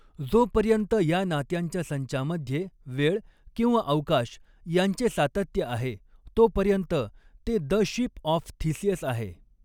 जोपर्यंत या नात्यांच्या संचामध्ये वेळ किंवा अवकाश यांचे सातत्य आहे, तोपर्यंत ते द शिप ऑफ थिसियस आहे.